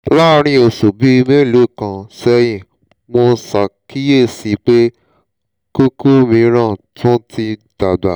láàárín oṣù bíi mélòó kan sẹ́yìn mo ṣàkíyèsí pé kókó mìíràn tún ti ń dàgbà